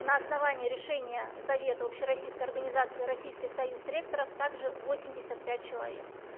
на основании решения совета общероссийской организации российский союз ректоров также восемьдесят пять человек